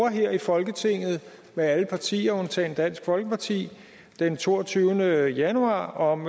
her i folketinget alle partier undtagen dansk folkeparti den toogtyvende januar om